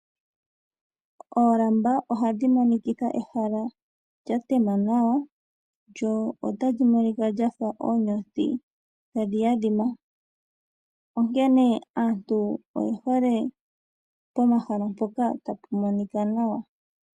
Oolamba ohadhi monikitha ehala lya tema nawa, lyo otali monika lyafa oonyothi tadhi adhima. Onkene aantu oyehole pomahala mpoka tapu monika nawa.